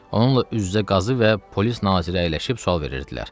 Onunla üz-üzə qazı və polis naziri əyləşib sual verirdilər.